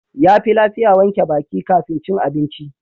Yafi lafiya wanke baki kafin cin abinci.